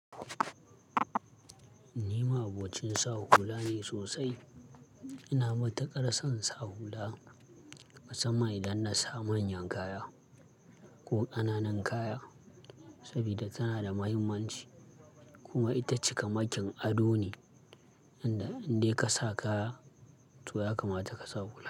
Ni ma'abocin sa hula ne sosai. Ina matukar son sa hula musamman idan na sa manyan kaya ko ƙananan kaya, saboda tana da mahimmanci kuma ita cika makin ado ne, inda in dai ka sa kaya to ya kamata ka sa hula.